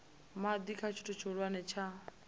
madi kha tshithu tshihulwane tsha